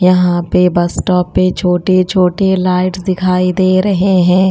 यहां पे bus stop पे छोटे-छोटे लाइट्स दिखाई दे रहे हैं।